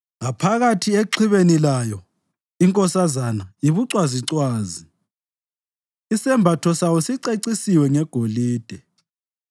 Ngaphakathi exhibeni layo inkosazana yibucwazicwazi; isembatho sayo sicecisiwe ngegolide.